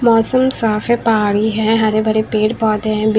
मौसम साफ है पहाड़ी है हरे भरे पेड़ पौधे हैं।